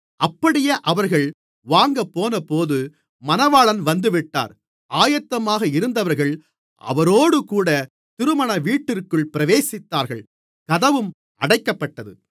அப்படியே அவர்கள் வாங்கப்போனபோது மணவாளன் வந்துவிட்டார் ஆயத்தமாக இருந்தவர்கள் அவரோடுகூடத் திருமணவீட்டிற்குள் பிரவேசித்தார்கள் கதவும் அடைக்கப்பட்டது